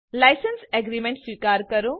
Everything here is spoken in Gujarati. લાઇસેન્સ એગ્રીમેન્ટ સ્વીકારો